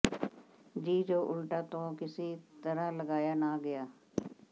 ਜੀ ਜੋ ਉਲਟਾ ਤੋ ਕਿਸੀ ਤਰਹ ਲਗਾਯਾ ਨ ਗਯਾ